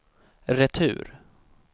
retur